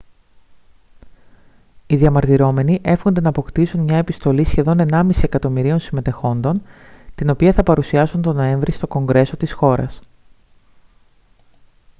οι διαμαρτυρόμενοι εύχονται να αποκτήσουν μια επιστολή σχεδόν ενάμιση εκατομμυρίων συμμετεχόντων την οποία θα παρουσιάσουν τον νοέμβρη στο κογκρέσο της χώρας